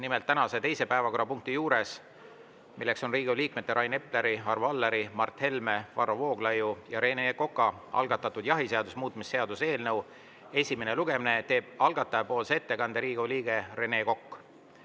Nimelt, tänases teises päevakorrapunktis, milleks on Riigikogu liikmete Rain Epleri, Arvo Alleri, Mart Helme, Varro Vooglaiu ja Rene Koka algatatud jahiseaduse muutmise seaduse eelnõu esimene lugemine, teeb algatajapoolse ettekande Riigikogu liige Rene Kokk.